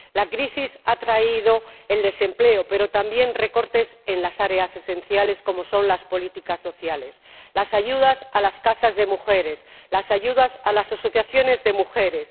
La crisis ha traído el desempleo, pero también recortes en las áreas esenciales como son las políticas sociales, las ayudas a las casas de mujeres, las ayudas a las asociaciones de mujeres.